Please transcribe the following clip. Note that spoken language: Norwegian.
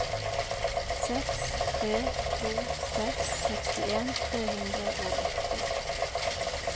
seks tre to seks sekstien tre hundre og åtti